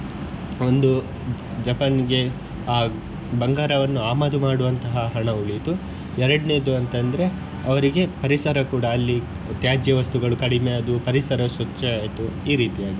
ಒಂದು ಜಪಾನ್ ಗೆ ಆ ಬಂಗಾರವನ್ನು ಆಮದು ಮಾಡುವಂತಹ ಹಣ ಉಳಿಯಿತು ಎರಡ್ನೇದು ಅಂತಂದ್ರೆ ಅವರಿಗೆ ಪರಿಸರ ಕೂಡ ಅಲ್ಲಿ ತ್ಯಾಜ್ಯ ವಸ್ತುಗಳು ಕಡಿಮೆ ಆದ್ವು ಪರಿಸರ ಸ್ವಚ್ಛ ಆಯ್ತು ಈ ರೀತಿಯಾಗಿ.